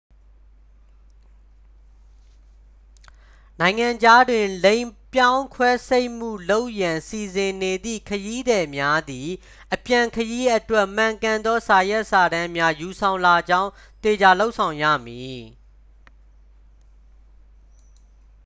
နိုင်ငံခြားတွင် လိင်ပြောင်း ခွဲစိတ်မှု လုပ်ရန် စီစဉ်နေသည့် ခရီးသည်များသည် အပြန်ခရီးအတွက် မှန်ကန်သော စာရွက်စာတမ်းများ ယူဆောင်လာကြောင်း သေချာလုပ်ဆောင်ရမည်